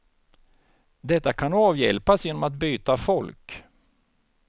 Detta kan avhjälpas genom att byta folk.